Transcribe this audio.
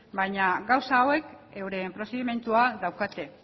baina gauza hauek euren prozedimentua daukate